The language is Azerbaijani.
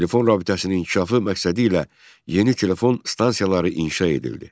Telefon rabitəsinin inkişafı məqsədi ilə yeni telefon stansiyaları inşa edildi.